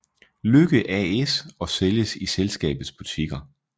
Lykke AS og sælges i selskabets butikker